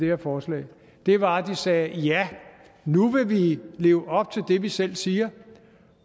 her forslag var at de sagde ja nu vil vi leve op til det vi selv siger